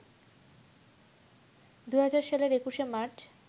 ২০০০ সালের ২১শে মার্চ